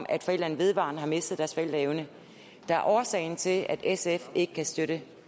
at forældrene vedvarende har mistet deres forældreevne der er årsagen til at sf ikke kan støtte